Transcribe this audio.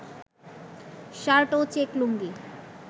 shirt ও check লুঙ্গি